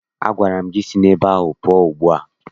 Agwara m gị si n' ube ahụ pụọ ugbu a!